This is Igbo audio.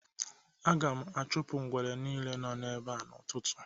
Aga m achụpụ ngwere nile nọ ebea n'ụtụtụ